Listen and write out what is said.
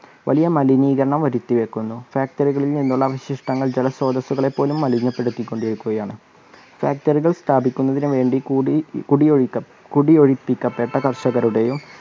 വലിയ മലിനീകരണം വരുത്തിവെക്കുന്നു. factory കളിൽ നിന്നുള്ള അവശിഷ്ടങ്ങൾ ജലസ്രോതസുകളെ പോല്ലും മലിനപ്പെടുത്തികൊണ്ടിരികുകയാണ്. factory സ്ഥാപിക്കുന്നതിനുവേണ്ടി കുടി കുടിഒഴിക ~ ഒഴുപ്പിക്കപ്പെട്ട കർഷകരുടെയോ